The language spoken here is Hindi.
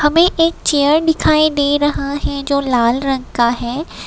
हमें एक चेयर दिखाई दे रहा है जो लाल रंग का है।